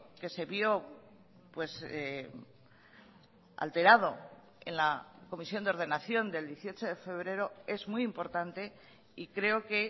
que se vio alterado en la comisión de ordenación del dieciocho de febrero es muy importante y creo que